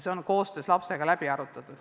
See on lapsega läbi arutatud.